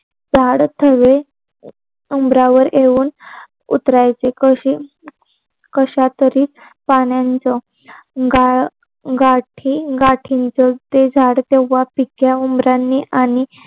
गाड थवे उमरावर येऊन उतरायचे कधी? कश्यातरी प्राण्यांचा, गाड गाठींनचे झाड तेव्हा ते पिक्या उमरांनी आणि